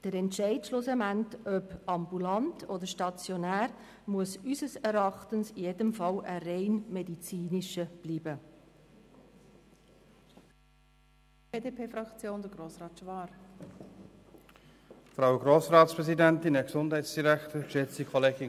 Der Entscheid, ob die Behandlung ambulant oder stationär erfolgen soll, muss in jedem Fall ausschliesslich auf einer medizinischen Grundlage gefällt werden.